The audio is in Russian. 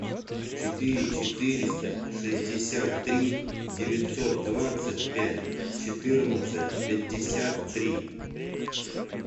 четыре четыреста шестьдесят три девятьсот двадцать пять четырнадцать пятьдесят три